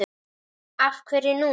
Af hverju núna?